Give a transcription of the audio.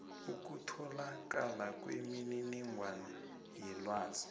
ukutholakala kwemininingwana yelwazi